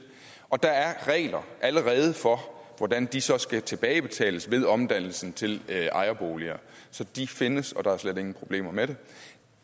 og der er allerede regler for hvordan de så skal tilbagebetales ved omdannelsen til ejerboliger så de findes og der er slet ingen problemer med det